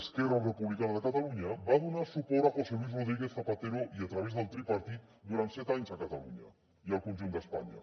esquerra republicana de catalunya va donar suport a josé luis rodríguez zapatero i a través del tripartit durant set anys a catalunya i al conjunt d’espanya